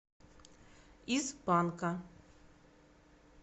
из панка